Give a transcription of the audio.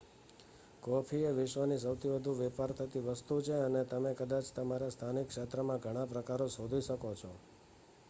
coffee એ વિશ્વની સૌથી વધુ વેપાર થતી વસ્તુ છે અને તમે કદાચ તમારા સ્થાનિક ક્ષેત્રમાં ઘણા પ્રકારો શોધી શકો છો